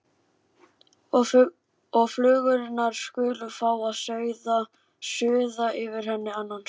Og flugurnar skulu fá að suða yfir henni annan söng.